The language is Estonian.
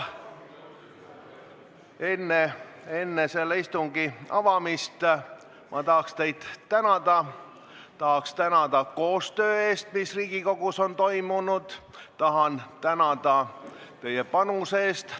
Enne selle avamist ma tahaksin teid tänada koostöö eest, mis Riigikogus on toimunud, ja teie panuse eest.